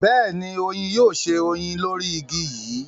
beeni, oyin yoo se oyin lori igi yi